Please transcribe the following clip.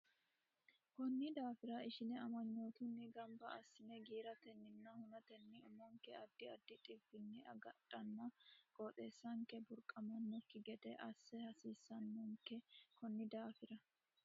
Konni daafira ishine amanyootunni gamba assine giiratenninna hunatenni umonke addi addi dhibbinni agadhanna qooxeessanke burquuqamannokki gede assa hasiissannonke Konni daafira.